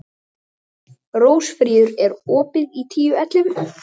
Rósfríður, er opið í Tíu ellefu?